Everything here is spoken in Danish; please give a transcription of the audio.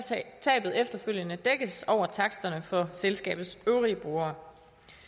tabet efterfølgende dækkes over taksterne for selskabets øvrige brugere